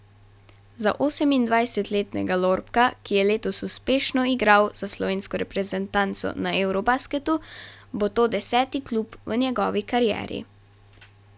Za osemindvajsetletnega Lorbka, ki je letos uspešno igral za slovensko reprezentanco na eurobasketu, bo to deseti klub v njegovi karieri.